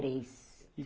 Três.